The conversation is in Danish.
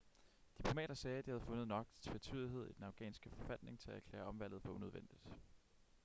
diplomater sagde at de havde fundet nok tvetydighed i den afghanske forfatning til at erklære omvalget for unødvendigt